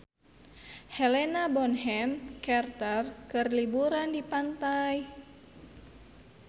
Helena Bonham Carter keur liburan di pantai